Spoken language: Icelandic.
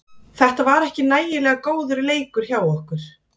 Þetta var ekki nægilega góður leikur hjá okkur.